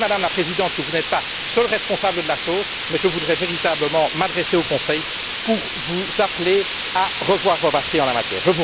Je sais, Madame la Présidente, que vous n'êtes pas seule responsable de la chose mais je voudrais véritablement m'adresser au Conseil pour vous appeler à revoir vos batteries en la matière.